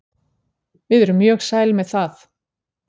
Við erum mjög sæl með það.